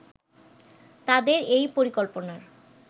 তাদের এই পরিকল্পনার